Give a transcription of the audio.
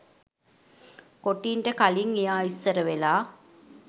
කොටින්ට කලින් එයා ඉස්සරවෙලා.